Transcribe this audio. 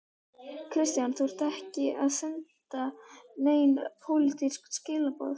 Kristján: Þú ert ekki að senda nein pólitísk skilaboð?